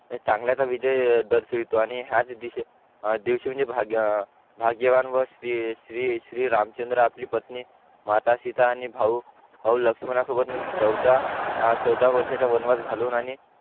चांगल्याच विजय दर्शिवतो आणि हा देश म्हणजे भाग्यवान व श्री श्री श्री रामचंद्र आपली पत्नी माता सीता आणि भाऊ लक्षमणासोबत म्हणजे चवदा वर्षाचा वनवास घालून आणि